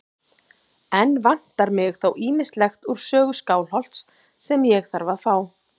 Enn vantar mig þó ýmislegt úr sögu Skálholts sem ég þarf að fá.